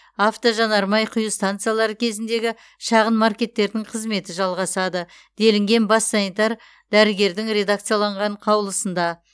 автожанармай құю станциялары кезіндегі шағын маркеттердің қызметі жалғасады делінген бас санитар дәрігердің редакцияланған қаулсында